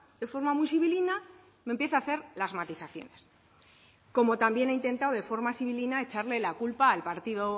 de forma muy sibilina y empieza a hacer las matizaciones como también ha intentado de forma sibilina echarle la culpa